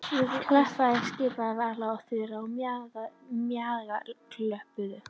Klappiði skipaði Vala og Þura og Maja klöppuðu.